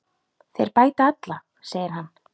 Þeir bæta alla, segir hann.